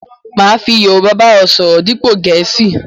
Máa fi Yorúbá ba ọ sọ̀rọ̀ dípo Gẹ̀ẹ̀síì